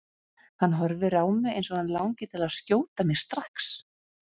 Hann horfir á mig eins og hann langi til að skjóta mig strax.